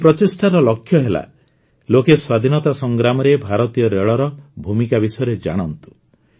ଏହି ପ୍ରଚେଷ୍ଟାର ଲକ୍ଷ୍ୟ ହେଲା ଲୋକେ ସ୍ୱାଧୀନତା ସଂଗ୍ରାମରେ ଭାରତୀୟ ରେଳର ଭୂମିକା ବିଷୟରେ ଜାଣନ୍ତୁ